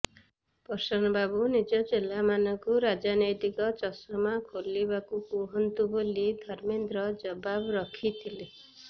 ପ୍ରସନ୍ନ ବାବୁ ନିଜ ଚେଲାମାନଙ୍କୁ ରାଜନ୘ତିକ ଚଷମା ଖୋଲିବାକୁ କୁହନ୍ତୁ ବୋଲି ଧର୍ମେନ୍ଦ୍ର ଜବାବ ରଖିଥିଲେ